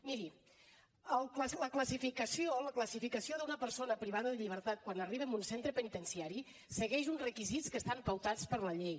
miri la classificació d’una persona privada de llibertat quan arriba a un centre penitenciari segueix uns requisits que estan pautats per la llei